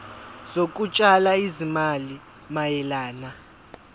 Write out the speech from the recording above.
zokutshala izimali mayelana